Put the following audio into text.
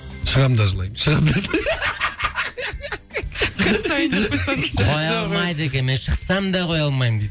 шығам да жылаймын шығам да жылаймын қоя алмайды екенмін мен шықсам да қоя алмаймын дейсің